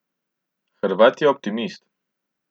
Hrvat je optimist.